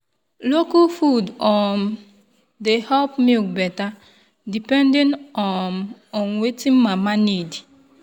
local food um dey help milk better depending um on wetin mama need.